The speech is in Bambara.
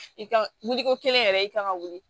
I ka wuli wuli ko kelen yɛrɛ i kan ka wuli